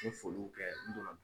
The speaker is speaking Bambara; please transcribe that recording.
U foliw kɛ n donna